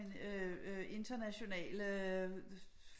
Øh internationale